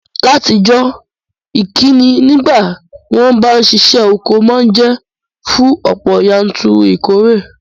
Látijọ́, ìkíni nígbàtí won ba n sisẹ́ oko ma n je fún ọ̀pọ̀yanturu ìkóre